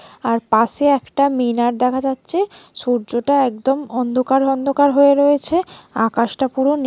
আর পাশে একটা মিনার দেখা যাচ্ছে সূর্যটা একদম অন্ধকার অন্ধকার হয়ে রয়েছে আকাশটা পুরো নী--